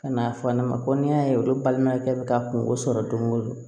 Ka n'a fɔ ne ma ko n'i y'a ye olu balimaya kɛ bɛ ka kungo sɔrɔ don go don